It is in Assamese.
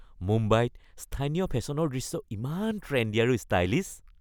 মুম্বাইত স্থানীয় ফেশ্বনৰ দৃশ্য ইমান ট্ৰেণ্ডি আৰু ষ্টাইলিছ।